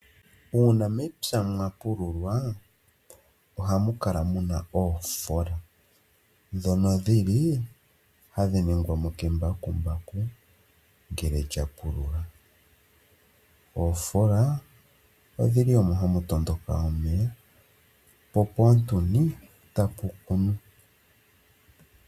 Uuna mepya mwa pululwa, oha mu kala mu na oofola ndhono dhili hadhi ningwa mo kembakumbaku ngele lya pulula. Oofola odhili omo ha mu tondoka omeya, po poontuni ta pu kunwa.